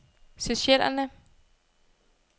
Seychellerne